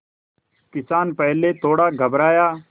किसान पहले थोड़ा घबराया